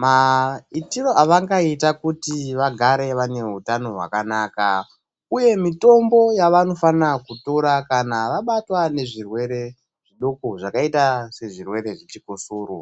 maitiro avangaita kuti vagare vane hutano hwakanaka. Uye mitombo yavanofanira kutora kana vabatwa nezvirwere doko zvakaita sezvirwere zvechikosoro.